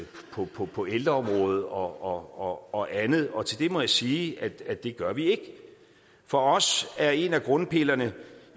på på ældreområdet og og andet og til det må jeg sige at det gør vi ikke for os er en af grundpillerne